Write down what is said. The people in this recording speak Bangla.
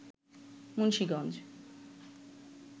মুন্সীগঞ্জ